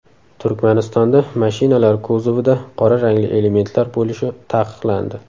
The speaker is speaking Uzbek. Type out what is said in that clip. Turkmanistonda mashinalar kuzovida qora rangli elementlar bo‘lishi taqiqlandi.